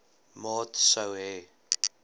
maat sou hê